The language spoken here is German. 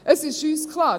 Es ist uns klar: